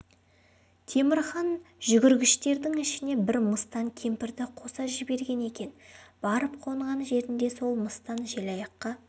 темір хан жүгіргіштердің ішіне бір мыстан кемпірді қоса жіберген екен барып қонған жерінде сол мыстан желаяққа